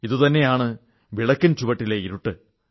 ഇതുതന്നെയാണ് വിളക്കിൻ ചുവട്ടിലെ ഇരുട്ട്